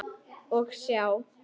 Og sjá!